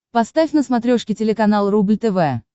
поставь на смотрешке телеканал рубль тв